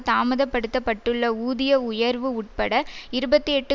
தாமதப்படுத்தப்பட்டுள்ள ஊதிய உயர்வு உட்பட இருபத்தி எட்டு